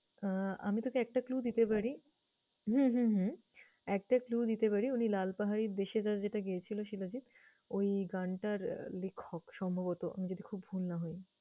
আহ আমি তোকে একটা clue দিতে পারি। হম হম হম একটা clue দিতে পারি উনি লালপাহাড়ীর দেশে যা যেটা গেয়েছিল শিলাজিৎ, ওই গানটার লেখক সম্ভবত আমি যদি খুব ভুল না হয়।